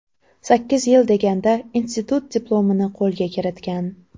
Sakkiz yil deganda, institut diplomini qo‘lga kiritgan.